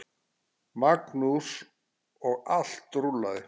Magnús: Og allt rúllað?